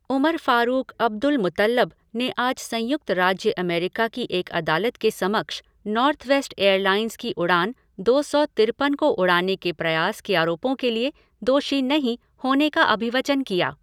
Umar Farouk Abdulmutallab ने आज संयुक्त राज्य अमेरिका की एक अदालत के समक्ष नॉर्थवेस्ट एयरलाइंस की उड़ान दो सौ तिरपन को उड़ाने के प्रयास के आरोपों के लिए 'दोषी नहीं' होने का अभिवचन किया।